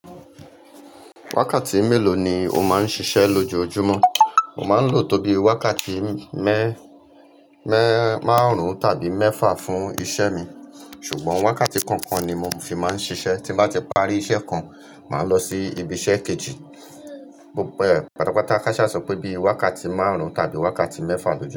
Wákàtí mélòó ni o máa ń ṣiṣẹ́ lójoojúmọ́? Mo máa ń lo tóbi wákàtí mẹ́-mẹ́ márùn-ún tàbí mẹ́fà fún iṣẹ́ mi. Ṣùgbọ́n wákàtí kọ̀ọ̀kan ni mo fi máa ń ṣiṣẹ́. Tín bá ti parí iṣẹ́ kan, màá lọ sí ibi iṣẹ́ kejì. Bẹ́ẹ̀, pàtàpàtà káṣà sọ pé bíi wákàtí márùn-ún tàbí wákàtí mẹ́fà ló ṣe.